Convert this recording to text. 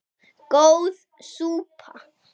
Góð súpa